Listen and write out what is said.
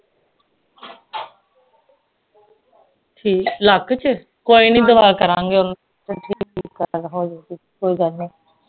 ਕਿ ਲੱਕ ਚ ਕੋਈ ਨਹੀਂ ਦੁਆ ਕਰਾਂਗੇ ਹੋ ਜਾਊਗੀ ਕੋਈ ਗੱਲ ਨਹੀਂ